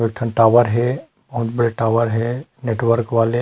दुठन tower हे अहू मेर टॉवर हे नेटवर्क वाले--